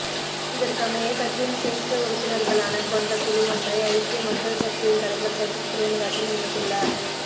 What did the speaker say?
இதற்கமைய கட்சியின் சிரேஷ்ட உறுப்பினர்களான கொண்ட குழுவொன்றை ஐக்கிய மக்கள் சக்தியின் தலைவர் சஜித் பிரேமதாஸ நியமித்துள்ளார்